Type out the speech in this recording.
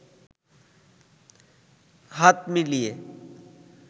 হাত মিলিয়ে